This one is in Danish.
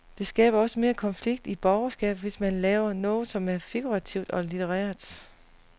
Det skaber også mere konflikt i borgerskabet, hvis man laver noget som er figurativt og litterært.